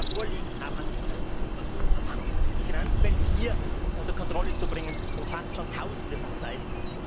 Was wir bisher vorliegen haben an diffusen Versuchen, die Finanzwelt hier unter Kontrolle zu bringen, umfasst schon Tausende von Seiten.